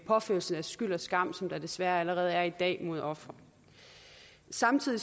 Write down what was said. påførelse af skyld og skam som der desværre allerede er i dag mod ofre samtidig